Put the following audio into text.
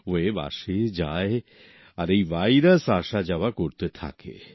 wave আসে যায় আর এই ভাইরাস আসা যাওয়া করতে থাকে